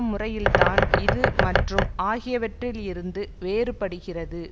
முறையில்தான் இது மற்றும் ஆகியவற்றில் இருந்து வேறுபடுகிறது